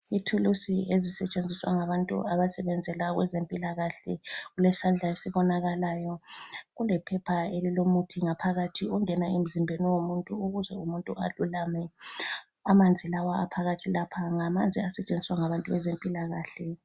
Ithulusi ezisetshenziswa ngabantu abasebenzela okwezempilakahle kulesandla esibonakalayo kulephepha elilomuthi ngaphakathi ongena emzimbeni womuntu ukuze umuntu alulame. Amanzi lawa aphakathi lapha ngamanzi asetshenziswa ngabantu bezempilakahle.